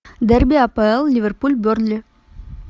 дерби апл ливерпуль бернли